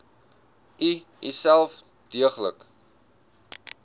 u uself deeglik